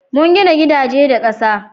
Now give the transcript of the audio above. mun gina gidaje da ƙasa